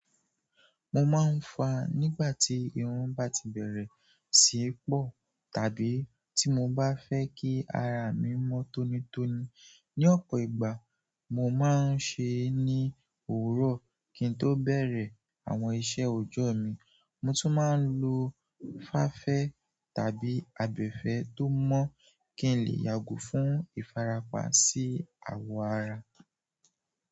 Mo máa ń fàá nígbà tí irun bá ti bẹ̀rẹ̀ sí pọ̀, tàbí tí mo bá fẹ́ kí ara mi mọ́ tónítóní. Ni ọ̀pọ̀ ìgbà mo máa ń ṣe é ní òwúrọ̀ kín tó bẹ̀rẹ̀ àwọn iṣẹ́ ọjọ́ mi. Mo tún máa ń lo fáfẹ́ tàbí abẹfẹ́ tó mọ́ kí n lè yàgò fún ìfarapa sí àwọ̀ ara.